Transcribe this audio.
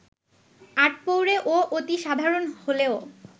আটপৌরে ও অতি সাধারণ হলেও